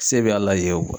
Se bɛ a la ye